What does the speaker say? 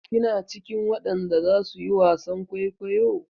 Kina cikin wadan da zasu yi wasan kwaikwayo?